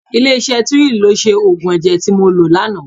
Ilé iṣẹ́ Tuyil ló ṣe òògùn ẹ̀jẹ̀ tí mo lò lánàá.